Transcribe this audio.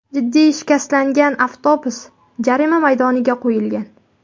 Jiddiy shikastlangan avtobus jarima maydoniga qo‘yilgan.